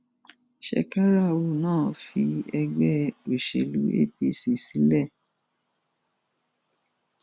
shekarau náà fi ẹgbẹ òṣèlú apc sílẹ